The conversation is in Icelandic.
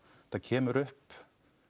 þetta kemur upp